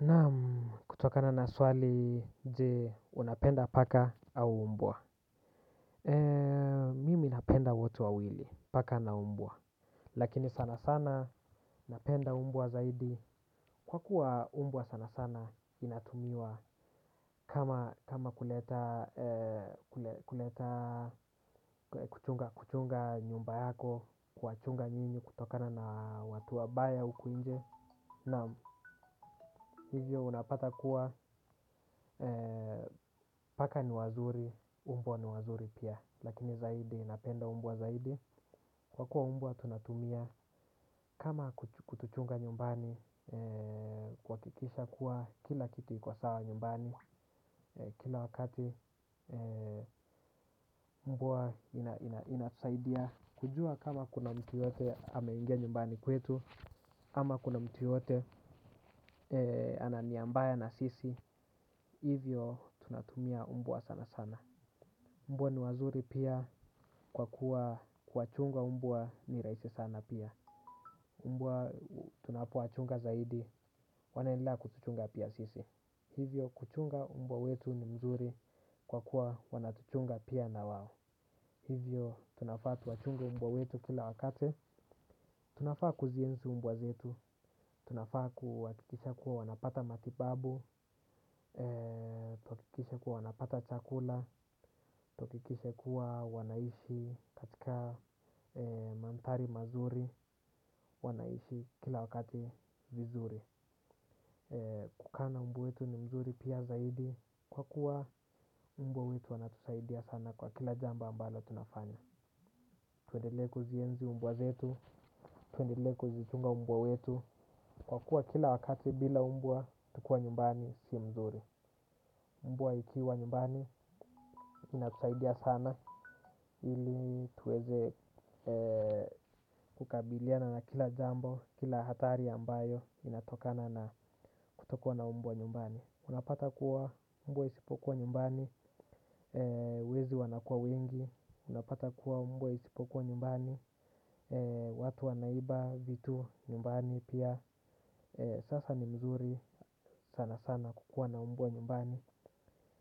Naam, kutokana na swali, je, unapenda paka au mbwa. Mimi napenda wote wawili, paka na mbwa. Lakini sana sana, napenda mbwa zaidi. Kwa kuwa umbwa sana sana inatumiwa kama kuleta, kuleta kuchunga nyumba yako, kuwachunga nyinyi kutokana na watu wabaya huku nje. Na hivyo unapata kuwa paka ni wazuri, umbwa ni wazuri pia, lakini zaidi napenda mbwa zaidi. Kwa kuwa mbwa tunatumia kama kutuchunga nyumbani kuhakikisha kuwa kila kitu iko sawa nyumbani, kila wakati mbwa inasaidia. Kujua kama kuna mtu yoyote ameingia nyumbani kwetu, ama kuna mtu yoyote ana nia mbaya na sisi, hivyo tunatumia mbwa sana sana. Mbwa ni wazuri pia kwa kuwa kuwachunga mbwa ni rahisi sana pia. Mbwa tunapo wachunga zaidi. Wanaenda kutuchunga pia sisi. Hivyo kuchunga mbwa wetu ni mzuri kwa kuwa wanatuchunga pia na wao. Hivyo tunafaa tuwachunge mbwa wetu kila wakati. Tunafaa kuzienzi mbwa zetu. Tunafaa kuhakikisha kuwa wanapata matibabu kuhakikisha kuwa wanapata chakula kuhakikisha kuwa wanaishi katika madhari mazuri wanaishi kila wakati vizuri. Kukaa na mbwa wetu ni mzuri pia zaidi. Kwa kuwa mbwa wetu wanatusaidia sana kwa kila jambo ambalo tunafanya. Tuendelee kuzienzi mbwa zetu. Tuendelee kuzichunga mbwa wetu. Kwa kuwa kila wakati bila mbwa tukiwa nyumbani si mzuri. Mbwa ikiwa nyumbani inatusaidia sana ili tuweze kukabiliana na kila jambo, kila hatari ambayo inatokana na kutokuwa na mbwa nyumbani. Unapata kuwa mbwa isipokuwa nyumbani, wezi wanakuwa wengi. Unapata kuwa mbwa isipokuwa nyumbani, watu wanaiba vitu nyumbani pia. Sasa ni mzuri sana sana kukua na mbwa nyumbani.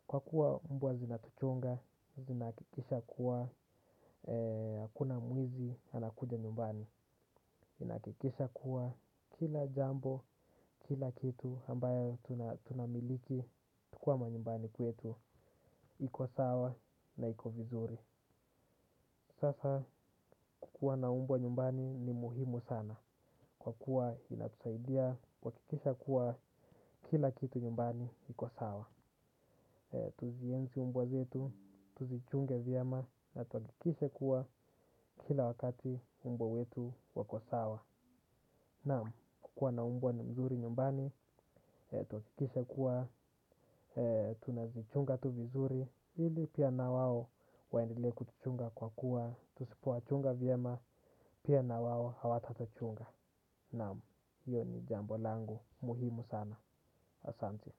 Kwa kuwa mbwa zinatuchunga, zinahakikisha kuwa, hakuna mwizi, anakuja nyumbani ina hakikisha kuwa kila jambo, kila kitu ambayo tunamiliki, tukiwa manyumbani kwetu, iko sawa na iko vizuri. Sasa kukuwa na mbwa nyumbani ni muhimu sana. Kwa kuwa inatusaidia kuhakikisha kuwa kila kitu nyumbani, iko sawa. Tuzienzi mbwa zetu, tuzichunge vyema na tuhakikishe kuwa kila wakati mbwa zetu wako sawa. Naam, kukuwa na mbwa ni mzuri nyumbani, tuhakikishe kuwa, tunazichunga tu vizuri. Hili pia na wao waendelee kutuchunga kwa kuwa, tusipo wachunga vyema, pia na wao hawatatuchunga. Naam, hiyo ni jambo langu muhimu sana, asante.